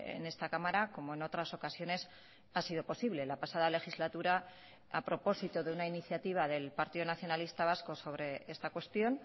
en esta cámara como en otras ocasiones ha sido posible la pasada legislatura a propósito de una iniciativa del partido nacionalista vasco sobre esta cuestión